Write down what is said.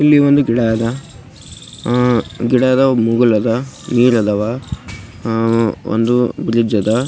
ಇಲ್ಲಿ ಒಂದು ಗಿಡ ಅದ ಆಹ್ಹ್ ಗಿಡ ಅದ ನೀರ್ ಅದಾವ ಒಂದು ಬ್ರಿಡ್ಜ್ ಅದ .